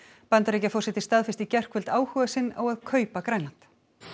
Bandaríkjaforseti staðfesti í gærkvöld áhuga sinn á að kaupa Grænland